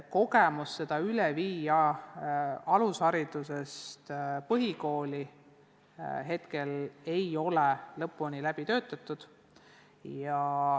Kogemused, kuidas saavutatu alusharidusest põhikooli üle viia, ei ole lõpuni läbi töötatud.